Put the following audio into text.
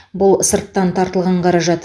бұл сырттан тартылған қаражат